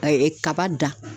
A ye ɛɛ kaba dan